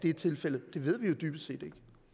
er tilfældet det ved vi jo dybest set